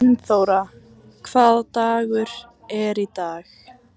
Steinþóra, hvaða dagur er í dag?